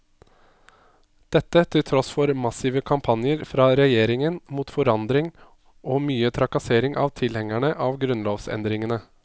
Dette til tross for massive kampanjer fra regjeringen mot forandring og mye trakassering av tilhengerne av grunnlovsendringene.